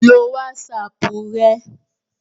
lo wásapù rẹ